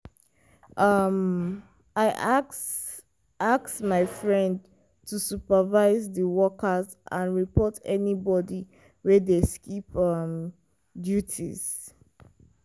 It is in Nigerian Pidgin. um i ask ask my friend to supervise di workers and report anybody wey dey skip um duties.